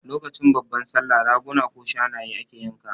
Lokacin babban Sallah Raguna ko Shanaye ake yanka wa